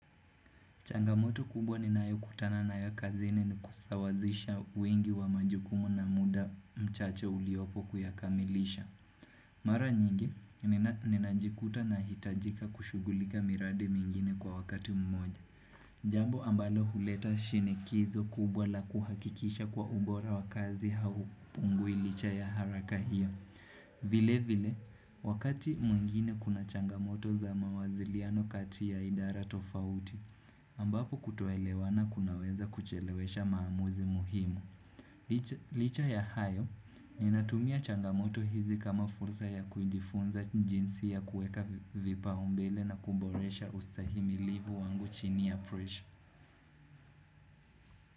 Changamoto kubwa ninayo kutana nayo kazini ni kusawazisha uingi wa majukumu na muda mchache uliopo kuyakamilisha. Mara nyingi, ninajikuta nahitajika kushughulika miradi mingine kwa wakati mmoja. Jambo ambalo huleta shinikizo kubwa la kuhakikisha kuwa ubora wa kazi haupungui licha ya haraka hiyo. Vile vile, wakati mwingine kuna changamoto za mawasiliano kati ya idara tofauti. Ambapo kutoelewana kunaweza kuchelewesha maamuzi muhimu. Licha ya hayo, ninatumia changamoto hizi kama fursa ya kujifunza jinsi ya kuweka vipaumbele na kuboresha ustahimilivu wangu chini ya pressure.